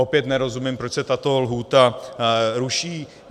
Opět nerozumím, proč se tato lhůta ruší.